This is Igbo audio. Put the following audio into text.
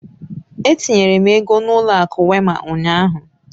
Etinyere m ego n'ụlọ akụ Wéma ụnyahụ.